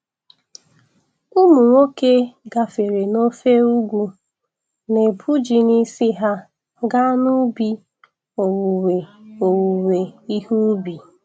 Ụmụ nwoke gbafere n'ofe ugwu, na-ebu ji n'isi ha gaa n'ubi owuwe owuwe ihe ubi.